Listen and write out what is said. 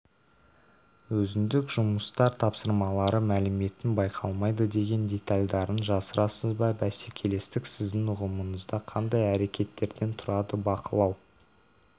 өзіндік жұмыстар тапсырмалары мәліметтің байқалмайды деген детальдарын жасырасыз ба бәсекелестік сіздің ұғымыңызда қандай әрекеттерден тұрады бақылау